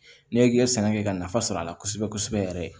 Ne k'i ye sɛnɛ kɛ ka nafa sɔrɔ a la kosɛbɛ kosɛbɛ yɛrɛ ye